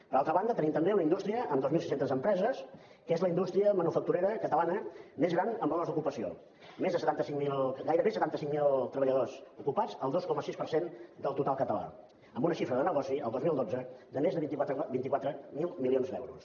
per altra banda tenim també una indústria amb dos mil sis cents empreses que és la indústria manufacturera catalana més gran en valors d’ocupació gairebé setanta cinc mil treballadors ocupats el dos coma sis per cent del total català amb una xifra de negoci el dos mil dotze de més de vint quatre mil milions d’euros